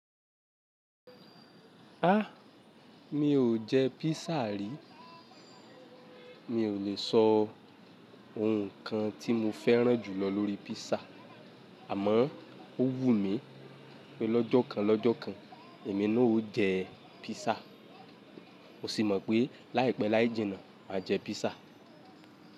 Áà, mi ò jẹ písà rí. Mi ò lè sọ ohun kan tí mo fẹ́ràn jù lọ lórí písà, àmọ́ ó wù mí pé lọ́jọ́ kan lọ́jọ́ kan èmi náà ó jẹ písà. Mo sì mọ̀ pé láìpẹ́ láì jìnà, màá jẹ písà.